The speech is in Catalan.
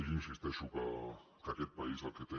jo insisteixo que aquest país el que té